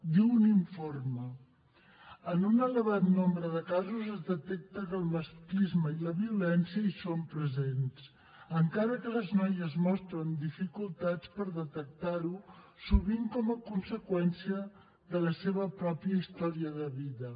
diu un informe en un elevat nombre de casos es detecta que el masclisme i la violència hi són presents encara que les noies mostren dificultats a detectar ho sovint com a conseqüència de la seva pròpia història de vida